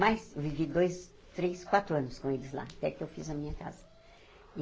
Mas, eu vivi dois, três, quatro anos com eles lá, até que eu fiz a minha casa.